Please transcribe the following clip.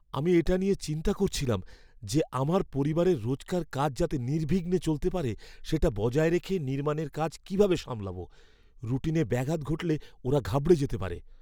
আমি এটা নিয়ে চিন্তা করছিলাম যে আমার পরিবারের রোজকার কাজ যাতে নির্বিঘ্নে চলতে পারে সেটা বজায় রেখে নির্মাণের কাজ কীভাবে সামলাব। রুটিনে ব্যাঘাত ঘটলে ওরা ঘাবড়ে যেতে পারে।